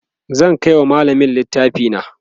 zan Kai wa mallamin littafi na